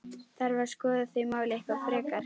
Þarf að skoða þau mál eitthvað frekar?